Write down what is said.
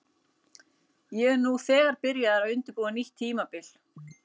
Ég er nú þegar byrjaður að undirbúa nýtt tímabil.